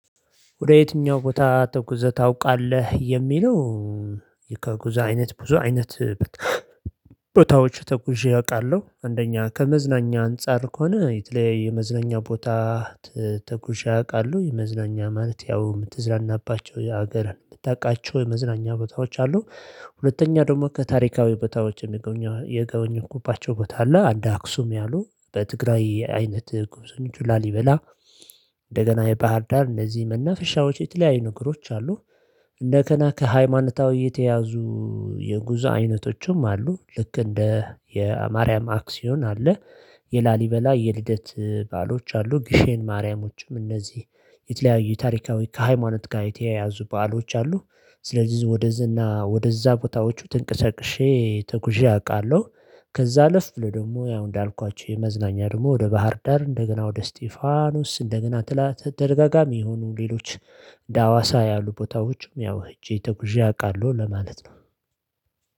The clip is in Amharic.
ወደ የትኛው ቦታ ተጉዘ ታውቃለህ የሚለው? ከጉዛ አይነት ብዙ አይነት ተጉዣ አውቃለሁ አንደኛ ከመዝናኛ አንፃር ከሆነ የተለያየ የመዝናኛ ቦታ። ተጉዥ አውቃለሁ መዝናኛ ማለት ያው የምትዝራናባቸው የሀገርን የምታውቃቸው የመዝናኛ ቦታዎች አሉ። ሁለተኛ ደግሞ ከታሪካዊ ቦታዎች የጎበኘውባቸው ባታዎች አሉ አንደ አክሱም ያሉ በትግራይ አይነት ግብስ ላሊበላ። እንደገና የባህር ዳር እነዚህ መናፍሻዎች የተለያዩ ነገሮች አሉ። እንደ ገነ ከሃይማኖታዊ የተያዙ። የጉዞ አይነቶችም አሉ ልክ እንደ የማርያም አክሲዮን አለ። የላሊበላ የልደት ባአሎች አሉ ጊሼን ማርያሞችም እነዚህ የተለያዩ ታሪካዊ ከሃይማኖት ጋር የተያያዙ በዓሎች አሉ። ስለዚህ ወደዚህ ወደዛ ቦታዎቹ ትንቅሰቅሼ ተጉዤ አውቃለሁ። ከዛ ልፍ ብሎ ደግሞ ያው እንዳልኳችሁ የመዝናኛ ደግሞ ወደ ባህር ዳር እንደገና ወደ እስቲፋኖስ እንደገና ትላ ተደጋጋሚ ይሁኑ ሌሎች። እንደ ሀዋሳ ያሉ ቦታዎችም ያው ሄጄ ተጉዤ አውቃለሁ ለማለት ነው።